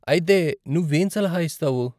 అయితే నువ్వు ఏం సలహా ఇస్తావు?